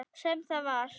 Sem það var.